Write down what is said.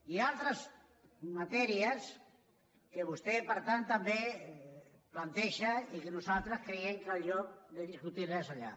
i altres matèries que vostè per tant també planteja i que nosaltres creiem que el lloc de discutirles és allà